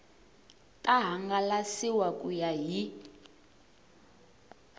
ta hangalasiwa ku ya hi